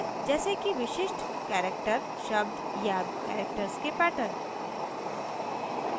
जैसे कि विशिष्ट characters शब्द या characters के patterns